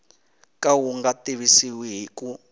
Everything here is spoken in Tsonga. ka wu nga tivisiwi ku